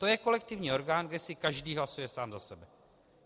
To je kolektivní orgán, kde si každý hlasuje sám za sebe.